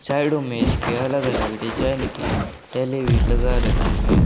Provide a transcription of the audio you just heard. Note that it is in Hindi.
शैडो में इसके अलग अलग डिजाइन की टैली भी लगा रखी हैं।